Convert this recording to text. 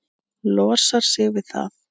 Losar sig við það.